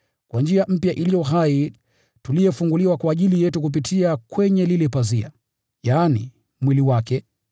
kwa njia mpya iliyo hai tuliyofunguliwa kwa ajili yetu kupitia kwenye lile pazia, yaani, mwili wake,